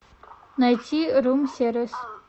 найти рум сервис